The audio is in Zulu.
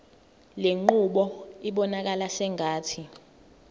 lenqubo ibonakala sengathi